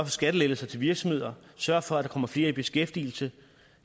skattelettelser til virksomheder sørger for at der kommer flere i beskæftigelse